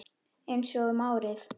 Einsog um árið.